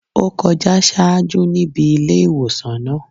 Ó kọjá ṣáájú níbi ilé ìwòsàn náà.